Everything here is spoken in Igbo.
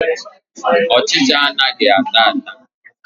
Ọchịcha anaghị ata ata.